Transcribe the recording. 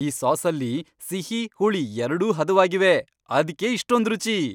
ಈ ಸಾಸಲ್ಲಿ ಸಿಹಿ, ಹುಳಿ ಎರ್ಡೂ ಹದವಾಗಿವೆ. ಅದ್ಕೇ ಇಷ್ಟೊಂದ್ ರುಚಿ!